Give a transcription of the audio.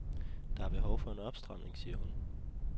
Der er behov for en opstramning, siger hun.